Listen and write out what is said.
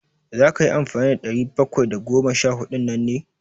Za ka yi amfani da ɗari bakwai da goma sha huɗun nan ne?